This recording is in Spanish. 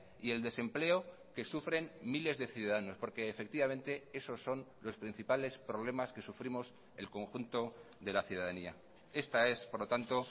y el desempleo que sufren miles de ciudadanos porque efectivamente esos son los principales problemas que sufrimos el conjunto de la ciudadanía esta es por lo tanto